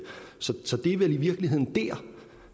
så det er vel i virkeligheden